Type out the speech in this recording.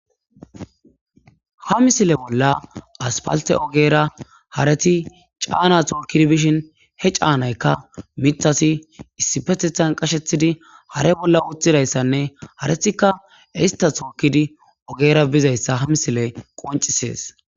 ha misile bolla aspalte ogera hareti caana tookkidi bishin he caanaykka mitasi issi petethan qashethidi hare bolla uthidayssanne haretika ista tookkidi ogera bizayssa ha misile qoncisees